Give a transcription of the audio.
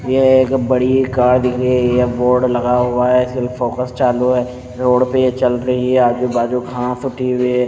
यह एक बड़ी कार दिख रही है ये बोर्ड लगा हुआ है इसलिए फोकस चालू है रोड पे ये चल रही है आजू बाजू घास उठी हुई है।